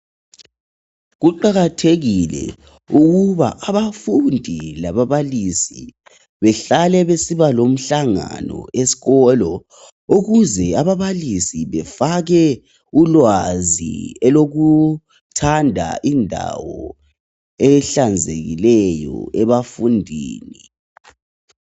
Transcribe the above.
kuqakathekile ukuba abafundi lababalisi bahlale besiba lomhlangano esikolo ukuze ababalisi befake ulwazi elokuthanda indawo ehlanzekileyo ebafundini